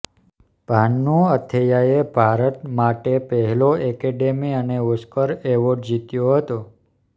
ભાનુ અથૈયાએ ભારત માટે પહેલો એકેડમી અને ઓસ્કર એવોર્ડ જીત્યો હતો